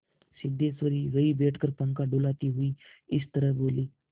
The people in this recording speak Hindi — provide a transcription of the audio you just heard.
सिद्धेश्वरी वहीं बैठकर पंखा डुलाती हुई इस तरह बोली